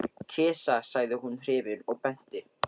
Kisa sagði hún hrifin og benti.